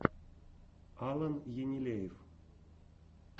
алан енилеев